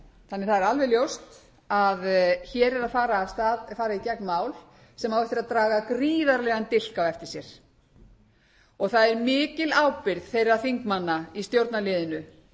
þannig að það er alveg ljóst að hér er að fara í gegn mál sem á eftir að draga gríðarlegan dilk á eftir sér það er mikil ábyrgð þeirra þingmanna í stjórnarliðinu